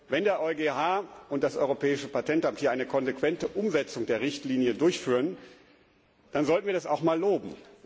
Wenn der EuGH und das Europäische Patentamt hier eine konsequente Umsetzung der Richtlinie durchführen, dann sollten wir das auch einmal loben.